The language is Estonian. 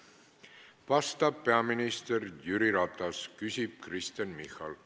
Vastab peaminister Jüri Ratas, küsib Kristen Michal.